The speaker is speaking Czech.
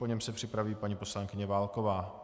Po něm se připraví paní poslankyně Válková.